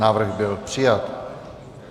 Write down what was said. Návrh byl přijat.